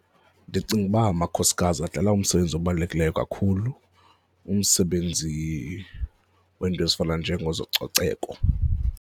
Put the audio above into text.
Ndicinga uba amakhosikazi adlala umsebenzi obalulekileyo kakhulu, umsebenzi weento ezifana njengezococeko.